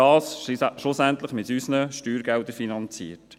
Das wird schlussendlich mit unseren Steuergeldern finanziert.